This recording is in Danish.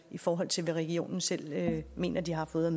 i forhold til hvad regionen selv mener de har fået